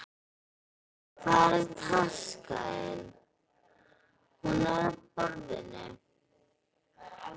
Hvar er taskan þín? Hún er á borðinu.